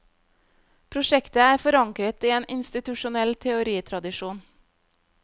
Prosjektet er forankret i en institusjonell teoritradisjon.